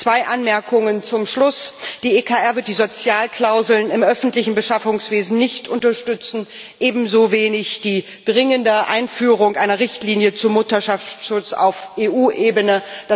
Zwei Anmerkungen zum Schluss Die EKR wird die Sozialklauseln im öffentlichen Beschaffungswesen nicht unterstützen, ebenso wenig die dringende Einführung einer Richtlinie zum Mutterschutz auf EU-Ebene.